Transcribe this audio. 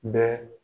Bɛɛ